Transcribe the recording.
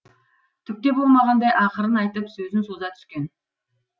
түк те болмағандай ақырын айтып сөзін соза түскен